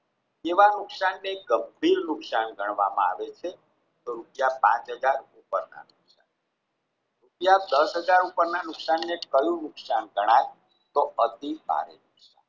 તેવા નુકસાનને ગંભીર નુકસાન ગણવામાં આવે છે તો રૂપિયા પાંચ હજાર ઉપરના રૂપિયા દસ હજાર ઉપરના નુકસાન ન કયું નુકસાન ગણાય તો અતિ ભારે